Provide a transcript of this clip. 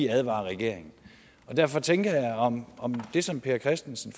advarer regeringen så derfor tænker jeg om om det som per christensen